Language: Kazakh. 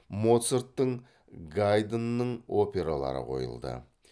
моцарттың гайднның опералары қойылды